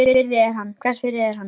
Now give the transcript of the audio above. Hvers virði er hann?